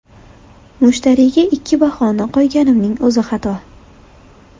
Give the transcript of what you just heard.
Mushtariyga ikki bahoni qo‘yganimning o‘zi xato.